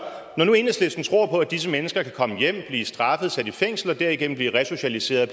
når nu enhedslisten tror på at disse mennesker kan komme hjem blive straffet og sat i fængsel og derigennem blive resocialiseret